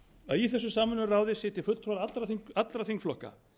að í þessu samvinnuráði sitji fulltrúar allra þingflokka